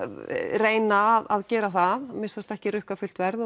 reyna að gera það að minnsta kosti ekki rukka fullt verð